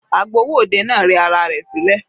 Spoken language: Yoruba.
Agbowó òde náà rẹ ara rẹ̀ sílẹ̀.